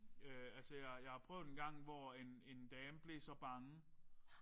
Øh altså jeg jeg har prøvet engang hvor en en dame blev så bange